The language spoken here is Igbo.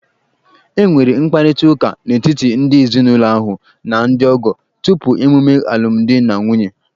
E nwere mkparịta ụka n'etiti ndị ezinụlọ ahụ na ndị ọgọ tupu emume alumdi na nwunye.